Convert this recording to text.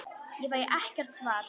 Ég fæ ekkert svar.